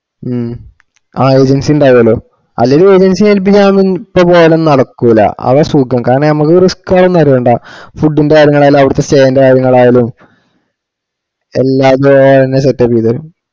ഹും ആഹ് emergency ഇണ്ടാവുലാല്ലോ അല്ലെങ്കില് emergency ചെയ്‌തിട്ട് പോയാലൊന്നും നടക്കൂല അതാ സുഖം കാരണം അമ്മക് risk ഒന്നും അറിയണ്ട food ന്റ്റെ കാര്യങ്ങളായാലും അവിടത്തെ stay ന്റ്റെ കാര്യങ്ങളായാലും എല്ലാം അവര് തന്നെ setup ചെയ്തേരും